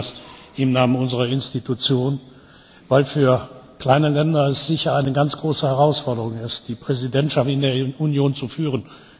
Ich sage Ihnen das im Namen unserer Institution, weil es für kleine Länder sicher eine ganz große Herausforderung ist, die Präsidentschaft in der Union zu führen.